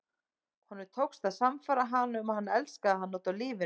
Honum tókst að sannfæra hana um að hann elskaði hana út af lífinu.